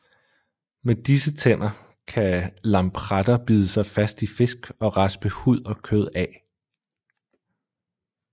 Med disse tænder kan lampretter bide sig fast i fisk og raspe hud og kød af